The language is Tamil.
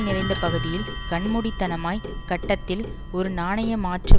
நிறைந்த பகுதியில் கண்மூடித்தனமாய் கட்டதில் ஒரு நாணய மாற்று